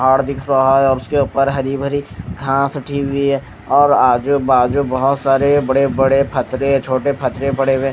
पहाड़ दिख रहा है और उसके ऊपर हरी भरी घांस उठी हुई है और आजू बाजू बहुत सारे बड़े बड़े फतरे छोटे फतरे पड़े हुए हैं।